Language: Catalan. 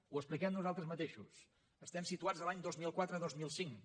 ho expliquem nosaltres mateixos estem situats l’any dos mil quatre dos mil cinc